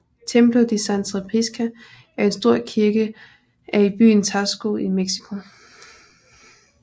Templo de Santa Prisca er en stor kirke er i byen Taxco i Mexico